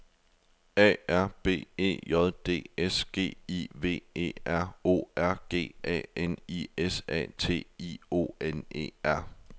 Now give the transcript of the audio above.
A R B E J D S G I V E R O R G A N I S A T I O N E R